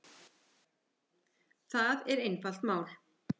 Það er einfalt mál